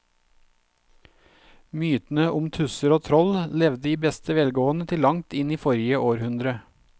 Mytene om tusser og troll levde i beste velgående til langt inn i forrige århundre.